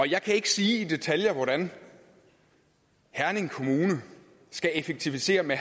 jeg kan ikke sige i detaljer hvordan herning kommune skal effektivisere med